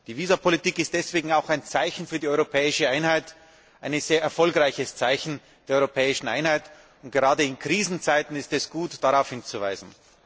Die Visapolitik ist deswegen auch ein Zeichen für die europäische Einheit ein sehr erfolgreiches Zeichen der europäischen Einheit und gerade in Krisenzeiten ist es gut, darauf hinzuweisen.